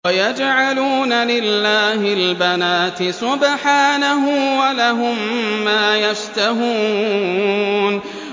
وَيَجْعَلُونَ لِلَّهِ الْبَنَاتِ سُبْحَانَهُ ۙ وَلَهُم مَّا يَشْتَهُونَ